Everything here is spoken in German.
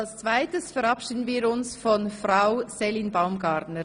Als Zweites verabschieden wir uns von Frau Céline Baumgartner.